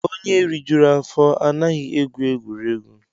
Onye rijuru afọ anaghị egwu egwuregwu